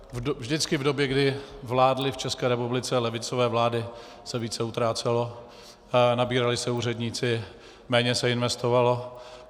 Vždycky v době, kdy vládly v České republice levicové vlády, se více utrácelo, nabírali se úředníci, méně se investovalo.